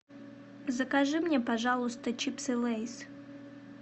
закажи мне пожалуйста чипсы лейс